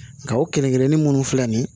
Nka o kelen kelennin minnu filɛ nin ye